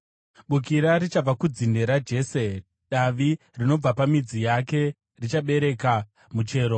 Bukira richabva kudzinde raJese; Davi rinobva pamidzi yake richabereka muchero.